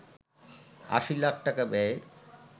৮০ লাখ টাকা ব্যয়ে